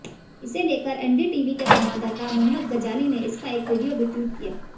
इसे लेकर एनडीटीवी के संवाददाता मोहम्मद गजाली ने इसका एक वीडियो भी ट्वीट किया